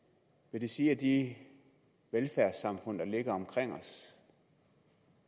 vil det sige at de velfærdssamfund der ligger omkring os